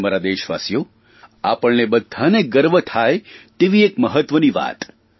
અને મારા દેશવાસીઓ આપણને બધાંને ગર્વ થાય તેવી એક મહત્વની વાત